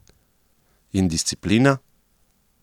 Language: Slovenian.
In disciplina?